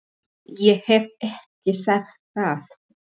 Ég hef ekki sagt það!